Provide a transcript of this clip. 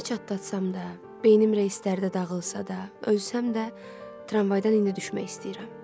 Kəlləmi çatladam da, beynim reyslərdə dağılsa da, ölsəm də, tramvaydan indi də düşmək istəyirəm.